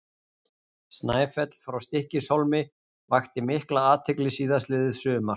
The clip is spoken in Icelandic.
Snæfell frá Stykkishólmi vakti mikla athygli síðastliðið sumar.